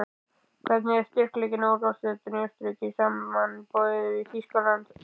Hvernig er styrkleikinn á úrvalsdeildinni í Austurríki samanborið við Þýskaland?